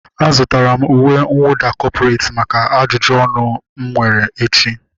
A zụtara m uwe mwụda kọpụreti maka ajụjụ ọnụ mụ nwere echi